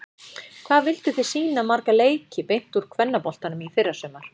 Hvað vilduð þið sýna marga leiki beint úr kvennaboltanum í fyrrasumar?